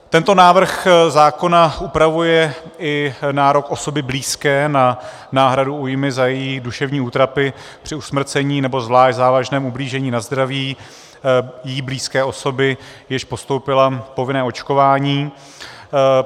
Tento návrh zákona upravuje i nárok osoby blízké na náhradu újmy za její duševní útrapy při usmrcení nebo zvlášť závažném ublížení na zdraví jí blízké osoby, jež podstoupila povinné očkování.